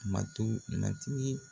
Matu Matigi